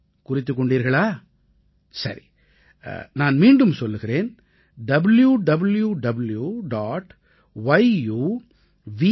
குறித்துக் கொண்டீர்களா சரி நான் மீண்டும் சொல்கிறேன் www